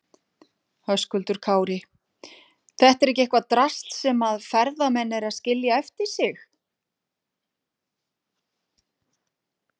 Höskuldur Kári: Þetta er ekki eitthvað drasl sem að ferðamenn eru að skilja eftir sig?